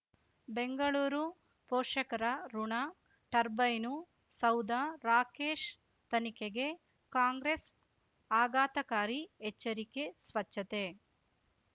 ಬೆಂಗಳೂರು ಪೋಷಕರಋಣ ಟರ್ಬೈನು ಸೌಧ ರಾಕೇಶ್ ತನಿಖೆಗೆ ಕಾಂಗ್ರೆಸ್ ಆಘಾತಕಾರಿ ಎಚ್ಚರಿಕೆ ಸ್ವಚ್ಛತೆ